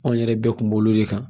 Anw yɛrɛ bɛɛ kun b'olu de kan